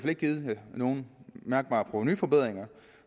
ikke givet nogen mærkbare provenuforbedringer